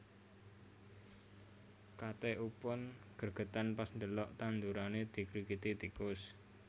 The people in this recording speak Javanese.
Kate Upton gregeten pas ndelok tandurane dikrikiti tikus